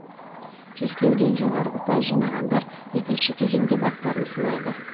тестілеуден жоғары ұпай жинағандар екінші кезеңде бақтарын сынайды